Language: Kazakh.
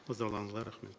назарларыңызға рахмет